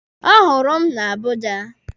Ọ hụrụ m na Abuja.